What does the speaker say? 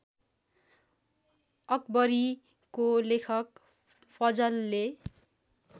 अकबरीको लेखक फजलले